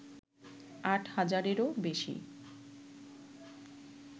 আট হাজারেরও বেশী